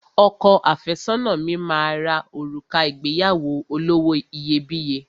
Ọkọ àfẹ́sọ́nà mi máa ra òrùka ìgbéyàwó olówó iyebíye